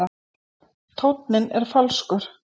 Tónninn er falskur.